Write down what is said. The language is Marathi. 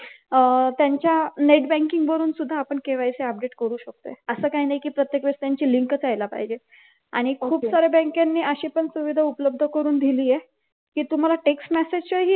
अह त्यांच्या net banking वरून सुद्धा आपण KYC update करू शकतो असं काही नाही की प्रत्येक वेळी त्यांची लिंकच यायला पाहिजेय आणि खूप सार्‍या बँकांनी अशी पण सुविधा उपलब्ध करून दिली आहे कि तुम्हाला text message येईल